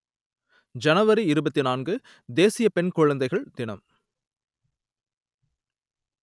ஜனவரி இருபத்தி நான்கு தேசிய பெண் குழந்தைகள் தினம்